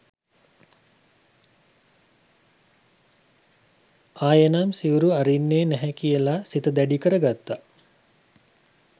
ආයෙනම් සිවුරු අරින්නේ නැහැ කියලා සිත දැඩි කරගත්තා.